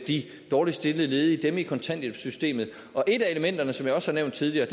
de dårligst stillede ledige dem i kontanthjælpssystemet og et af elementerne som jeg også har nævnt tidligere